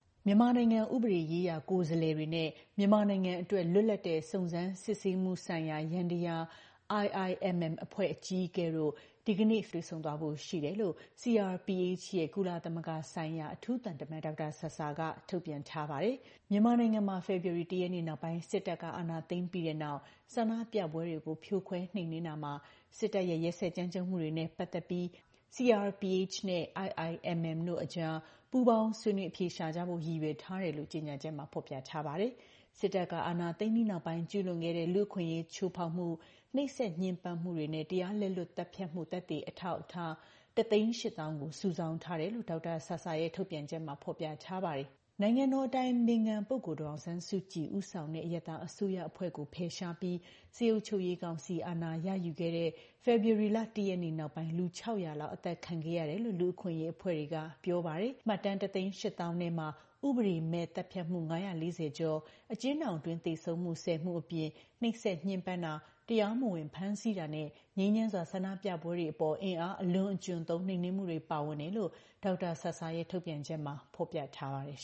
မြန်မာနိုင်ငံ ဥပဒေရေးရာကိုယ်စားလှယ်တွေနဲ့ မြန်မာနိုင်ငံအတွက် လွတ်လပ်တဲ့ စုံစမ်းစစ်ဆေးမှု ဆိုင်ရာ ယန္တယား IIMM အဖွဲ့ အကြီးအကဲတို့ ဒီကနေ့ ဧပြီလ ၇ ရက်နေ့မှာ တွေ့ဆုံသွားဖို့ရှိတယ်လို့ CRPH ရဲ့ ကုလသမဂ္ဂဆိုင်ရာ အထူးသံတမန် ဒေါက်တာဆာဆာက ထုတ်ပြန်ထားပါတယ်။ ဒီလိုတွေ့ဆုံမှုကို CRPH ကတဆင့် ဆောင်ရွက်တာလို့လည်း ဖော်ပြထားပါတယ်။မြန်မာနိုင်ငံမှာ ဖေဖော်ဝါရီလ ၁ ရက်နေ့ နောက်ပိုင်း စစ်တပ်က အာဏာသိမ်းပြီးတဲ့နောက် ဆန္ဒပြပွဲတွေကိုဖြိုခွဲနှိမ်နှင်းတာမှာ စစ်တပ်ရဲ့ ရက်စက်ကြမ်းကြုတ်မှုတွေနဲ့ ပတ်သက်ပြီး CRPH နဲ့ IIMM တို့ကြား ပူးပေါင်းဆွေးနွေး အဖြေရှာကြဖို့ ရည်ရွယ်ထားတယ်လို့ ကြေညာချက်မှာ ဖော်ပြထားပါတယ်။ စစ်တပ်က အာဏာသိမ်းပြီးနောက်ပိုင်း ကျုးလွန်ခဲ့တဲ့ လူ့အခွင့်အရးချိုးဖေါက်မှု၊ နှိပ်စက်ညှဉ်းပန်းမှုတွေနဲ့ တရားလက်လွတ် သတ်ဖြတ်မှု သက်သေအထောက်အထား ၁၈၀,၀၀၀ ကို စုဆောင်းထားတယ်လို့လည်း ဒေါက်တာဆာဆာရဲ့ ထုတ်ပြန်ချက်မှာ ဖော်ပြထားပါတယ်။ နိုင်ငံတော်အတိုင်ပင်ခံ ပုဂ္ဂိုလ် ဒေါ်အောင်ဆန်းစုကြည်ဦးဆောင်တဲ့ အရပ်သားအစိုးရအဖွဲ့ကို ဖယ်ရှားပြီး စစ်အုပ်ချုပ်ရေးကောင်စီ အာဏာရယူခဲ့တဲ့ ဖေဖေါ်ဝါရီလ ၁ ရက်နေ့နောက်ပိုင်း လူ ၆၀၀ လောက် အသတ်ခံခဲ့ရတယ်လို့ လူ့အခွင့်အရေးအဖွဲ့တွေက ပြောပါတယ်။ မှတ်တမ်း ၁၈၀,၀၀၀ ထဲမှာ ဥပဒေမဲ့သတ်ဖြတ်မှု ၅၄၀ ကျော်၊ အကျဉ်းထောင်အတွင်း သေဆုံးမှု ၁၀ မှု အပြင် နှိပ်စက်ညှဉ်းပန်းတာ၊ တရားမဝင် ဖမ်းဆီးတာနဲ့ ငြိမ်းချမ်းစွာ ဆန္ဒပြပွဲတွေအပေါ် အင်အားအလွန်အကျွံသုံး နှိမ်နှင်းမှုတွေ ပါဝင်တယ်လို့ ဒေါက်တာဆာဆာရဲ့ ထုတ်ပြန်ချက်မှာ ဖော်ပြထားပါတယ်